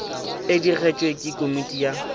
e digetšwe ke komiti ya